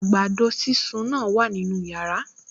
Àgbàdo sísun náà wà nínú yàrá